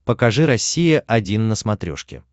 покажи россия один на смотрешке